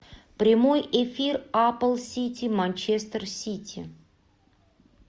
прямой эфир апл сити манчестер сити